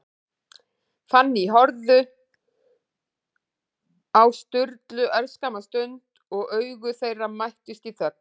Fanný horfði á Sturlu örskamma stund, og augu þeirra mættust í þögn.